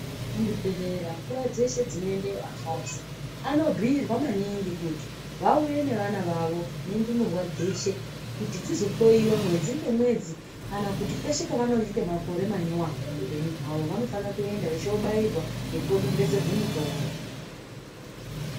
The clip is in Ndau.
Muzvibhedhlera nguva dzeshe dzinoendeyo akadzi anobhiirwa maningi kuti vauye nevana vavo nendumurwa dzeshe kuti dzizo weyiwa mwedzi nemwedzi kana kuti peshe pavanoite makore manyowani muhupenyu hwavo vanofana vechobairwa nekodonhedzerwa mitombo.